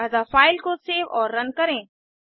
अतः फ़ाइल को सेव और रन करें